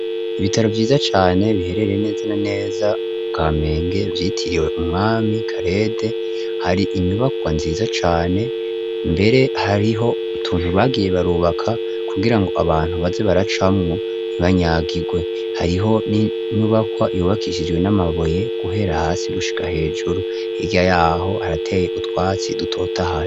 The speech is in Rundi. Ibitaro vyiza cane biherereye neza na neza mu Kamenge vyitiriwe umwami Karede, hari inyubakwa nziza cane, mbere hariho utuntu bagiye barubaka, kugira ngo abantu baze baracamwo ntibanyagirwe. Hariho n'inyubakwa yubakishijwe n'amabuye guhera hasi gushika hejuru, hiya yaho harateye utwatsi dutotahaye.